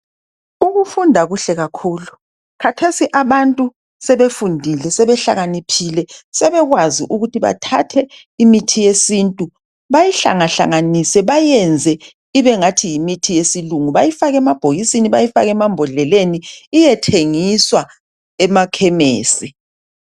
Ukufunda kuhle kakhulu, khathesi abantu sebefundile sebehlakaniphile sebekwazi ukuthi bathathe imithi yesintu bayihlangahlanganise bayiyenze ibe ngathi yimithi yesilungu bayifake emabhokisini bayifake emambodleleni iyethengiswa emakhemesi.